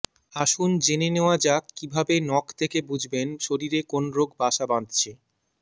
আসুন জেনে নেওয়া যাক কী ভাবে নখ দেখে বুঝবেন শরীরে কোন রোগ বাসা বাঁধছে